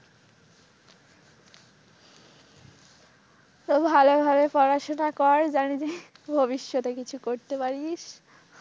তো ভালই ভালই পড়াশোনা কর জানবি যেন ভবিষ্যতে কিছু করতে পারিস।